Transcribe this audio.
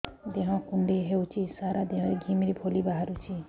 ଦେହ କୁଣ୍ଡେଇ ହେଉଛି ସାରା ଦେହ ରେ ଘିମିରି ଭଳି ବାହାରୁଛି